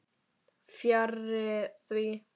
Fjarri því.